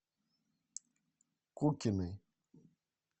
кукиной